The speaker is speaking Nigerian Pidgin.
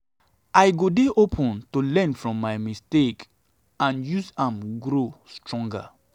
i go dey open to learn from my mistakes and use am to grow stronger.